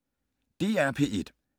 DR P1